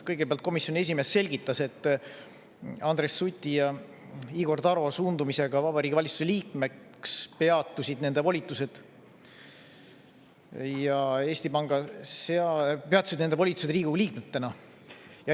Kõigepealt komisjoni esimees selgitas, et Andres Suti ja Igor Taro suundumisega Vabariigi Valitsuse liikmeks peatusid nende volitused Riigikogu liikmetena.